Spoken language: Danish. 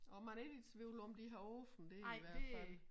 Og man er ikke i tvivl om de har åbent dér i hvert fald